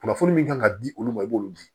Kunnafoni min kan ka di olu ma i b'olu di